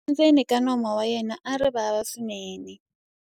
tshumba endzeni ka nomu wa yena a ri vava swinene